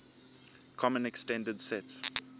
common extended sets